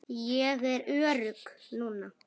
Ég er örugg núna.